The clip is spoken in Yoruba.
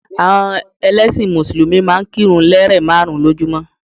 Àwọn ẹlẹ́sìn mùsùlùmí máa n kírun lérè máàrún lójúmó